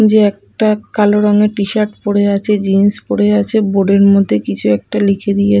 যে একটা কালো রঙের টিশার্ট পরে আছে জিন্স পরে আছে বোর্ড -এর মধ্যে কিছু একটা লিখে দিয়ে--